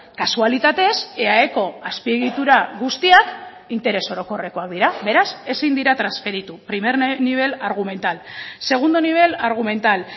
kasualitatez eaeko azpiegitura guztiak interes orokorrekoak dira beraz ezin dira transferitu primer nivel argumental segundo nivel argumental